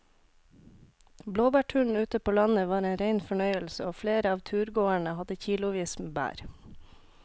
Blåbærturen ute på landet var en rein fornøyelse og flere av turgåerene hadde kilosvis med bær.